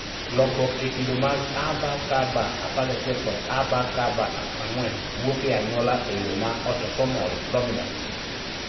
Lokruok e kido mag ABCB11 kod ABCB4 wuok e anyuola e yo ma autosomal dominant